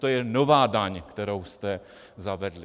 To je nová daň, kterou jste zavedli.